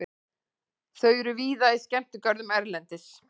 Þau eru víða í skemmtigörðum erlendis.